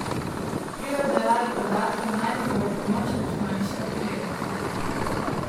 Pri obdelavi podatkov naj ti bo v pomoč računalniška preglednica.